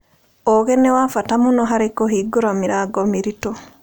Ũũgĩ nĩ wa bata mũno harĩ kũhingũra mĩrango mĩritũ.